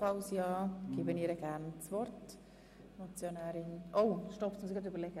– Stopp, jetzt muss ich kurz überlegen.